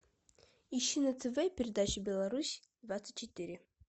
ищи на тв передачу беларусь двадцать четыре